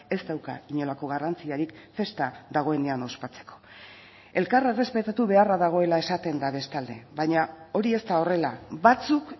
ez dauka inolako garrantzirik festa dagoenean ospatzeko elkar errespetatu beharra dagoela esaten da bestalde baina hori ez da horrela batzuk